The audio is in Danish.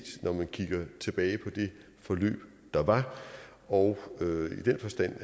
når man kigger tilbage på det forløb der var og i den forstand